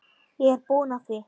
Ég er búinn að því.